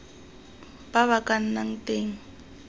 ba ba ka nnang teng